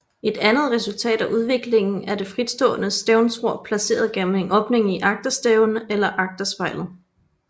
Et andet resultat af udviklingen er det fritstående stævnsror placeret gennem en åbning i agterstævnen eller agterspejlet